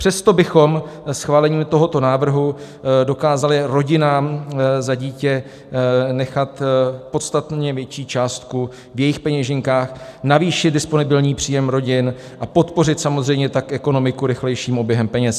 Přesto bychom schválením tohoto návrhu dokázali rodinám za dítě nechat podstatně větší částku v jejich peněženkách, navýšit disponibilní příjem rodin a podpořit samozřejmě tak ekonomiku rychlejším oběhem peněz.